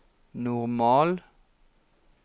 normal